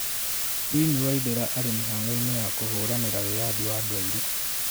Winnie waithera arĩ mĩhang'o-inĩ ya kũhũranĩra wiyathi wa andũ aĩrũ